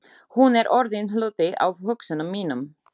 Hún er orðin hluti af hugsunum mínum.